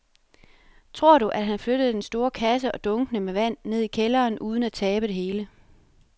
Tror du, at han kan flytte den store kasse og dunkene med vand ned i kælderen uden at tabe det hele?